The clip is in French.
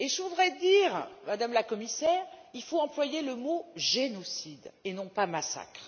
Je voudrais dire, Madame la Commissaire, qu'il faut employer le mot génocide et non pas massacre.